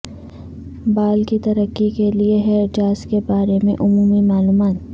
بال کی ترقی کے لئے ہیئر جاز کے بارے میں عمومی معلومات